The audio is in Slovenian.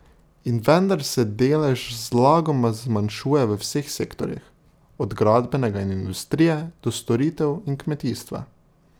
In vendar se delež zlagoma zmanjšuje v vseh sektorjih, od gradbenega in industrije do storitev in kmetijstva.